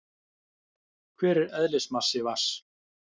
hver er eðlismassi vatns